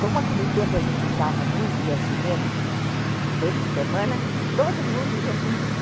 Como naquele tempo a gente usava muito, ia ao cinema, uma vez por semana, todo mundo ia ao cinema.